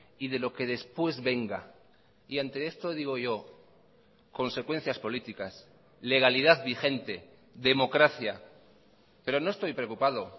y de lo que después venga y ante esto digo yo consecuencias políticas legalidad vigente democracia pero no estoy preocupado